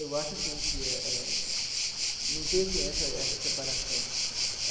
Eu acho assim que eh eh não tem assim essa essa separação.